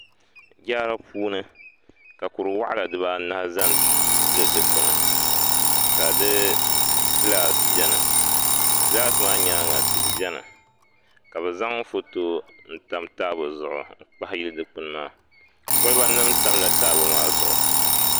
Yaari puuni ka kuri waɣala dibaanahi ʒɛ n tili dikpuni ka di gilaas biɛni gilaas maa nyaanga tihi biɛni ka bi zaŋ foto n tam taabo zuɣu n kpahi yili dikpuni maa koliba nim tamla taabo maa zuɣu